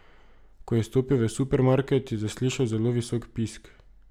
Ko je stopil v supermarket, je zaslišal zelo visok pisk.